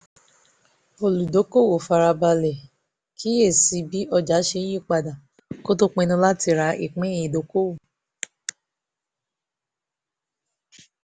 olùdókòwò fara balẹ̀ kíyè sí bí ọjà ṣe ń yí padà kó tó pinnu láti ra ìpín ìdókòwò